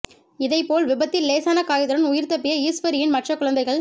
இதை போல் விபத்தில் லேசான காயத்துடன் உயிர் தப்பிய ஈஸ்வரியின் மற்ற குழந்தைகள்